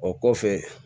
O kɔfɛ